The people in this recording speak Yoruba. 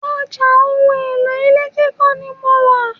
Ọjà ohun èlò ilé kíkọ́ ni mo wà.